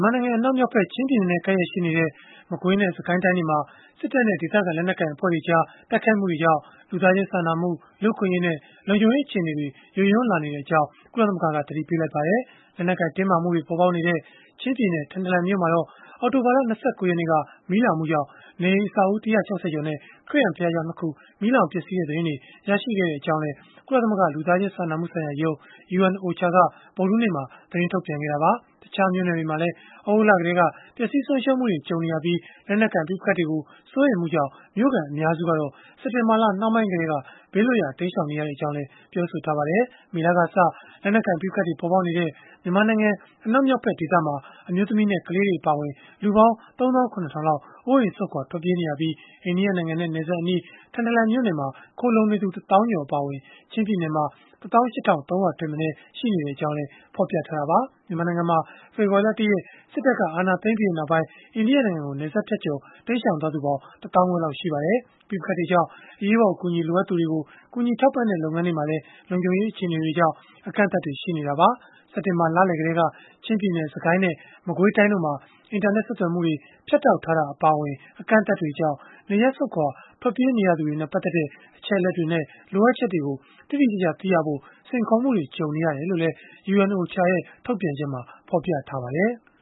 ်မာနိုင်ငံ အနောက်မြောက်ဖက် ချင်းပြည်နယ်နဲ့ ကပ်လျက်ရှိနေတဲ့ မကွေးနဲ့ စစ်ကိုင်းတိုင်းတွေမှာ စစ်တပ်နဲ့ ဒေသခံ လက်နက်ကိုင် အဖွဲ့တွေကြား တိုက်ခိုက်မှုတွေကြောင့် လူသားချင်းစာနာမှု၊ လူ့အခွင့်အရေးနဲ့ လုံခြုံရေး အခြေအနေတွေ ယိုယွင်းလာနေကြောင်း ကုလသမဂ္ဂက သတိပေးလိုက်ပါတယ်။ လက်နက်ကိုင် တင်းမာမှုတွေ ပေါ်ပေါက်နေတဲ့ ချင်းပြည်နယ်၊ ထန်တလန်မြို့မှာတော့ အောက်တိုဘာလ ၂၉ ရက်နေ့က မီးလောင်မှုကြောင့် နေအိမ်အဆောက်အဦး ၁၆၀ ကျော်နဲ့ ခရစ်ယာန်ဘုရားကျောင်း ၂ ခု မီးလောင်ပျက်စီးခဲ့တဲ့ သတင်းတွေ ရရှိခဲ့ကြောင်းလည်း ကုလသမဂ္ဂ လူသားချင်းစာနာမှုဆိုင်ရာရုံး (UNOCHA) က ဗုဒ္ဓဟူးနေ့မှာ သတင်းထုတ်ပြန်ခဲ့တာပါ။ တခြားမြို့နယ်တွေမှာလည်း သြဂုတ်လ ကတည်းက ပျက်စီးဆုံးရှုံးမှုတွေ ကြုံနေရပြီး လက်နက်ကိုင် ပဋိပက္ခတွေကို စိုးရိမ်မှုကြောင့် မြို့ခံအများစုကတော့ စက်တင်ဘာလ နှောင်းပိုင်းကတည်းက ဘေးလွတ်ရာ တိမ်းရှောင်နေရကြောင်းလည်း ပြောပါတယ်။ မေလကစ လက်နက်ကိုင် ပဋိပက္ခတွေ ပေါ်ပေါက်နေတဲ့ မြန်မာနိုင်ငံ အနောက်မြောက်ဖက်ဒေသမှာ အမျိုးသမီးနဲ့ ကလေးတွေ အပါအဝင် လူပေါင်း ၃၇,၀၀၀ လောက် အိုးအိမ်စွန့်ခွာ ထွက်ပြေးနေရပြီး အိန္ဒိယနိုင်ငံနယ်စပ်အနီး ထန်တလန်မြို့နယ်မှာ ခိုလှုံနေသူ ၁ သောင်းကျော် အပါအဝင် ချင်းပြည်နယ်မှာ ၁၈,၃၀၀ ထက်မနည်း ရှိနေကြောင်းလည်း ဖော်ပြထားတာပါ။ မြန်မာနိုင်ငံမှာ ဖေဖော်ဝါရီလ ၁ ရက်နေ့ စစ်တပ်က အာဏာသိမ်းပြီးနောက်ပိုင်း အိန္ဒိယနိုင်ငံကို နယ်စပ်ဖြတ်ကျော် တိမ်းရှောင်သွားသူပေါင်း ၁ သောင်းခွဲလောက် ရှိပါတယ်။ ပဋိပက္ခတွေကြောင့် အရေးပေါ် အကူအညီ လိုအပ်သူတွေကို ကူညီထောက်ပံ့တဲ့ လုပ်ငန်းတွေမှာလည်း လုံခြုံရေးအခြေအနေတွေကြောင့် အကန့်အသတ်တွေ ရှိနေတာပါ။ စက်တင်ဘာလလယ် ကတည်းက ချင်းပြည်နယ်၊ စစ်ကိုင်းနဲ့ မကွေးတိုင်းတို့မှာ အင်တာနက် ဆက်သွယ်မှုတွေ ဖြတ်တောက်ထားတာ အပါအဝင် အကန့်အသတ်တွေကြောင့် နေရပ်စွန့်ခွာ ထွက်ပြေးနေရသူတွေနဲ့ ပတ်သက်တဲ့ အချက်အလက်တွေနဲ့ လိုအပ်ချက်တွေကို တိတိကျကျ သိရဖို့ စိန်ခေါ်မှုတွေ ကြုံနေရတယ်လို့လည်း UNOCHA ရဲ့ ထုတ်ပြန်ချက်မှာ ဖော်ပြထားပါတယ်။